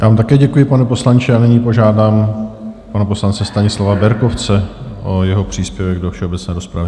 Já vám také děkuji, pane poslanče, a nyní požádám pana poslance Stanislava Berkovce o jeho příspěvek do všeobecné rozpravy.